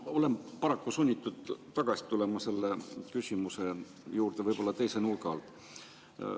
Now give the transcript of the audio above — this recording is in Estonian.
Ma olen paraku sunnitud tagasi tulema selle küsimuse juurde, võib-olla küll teise nurga alt.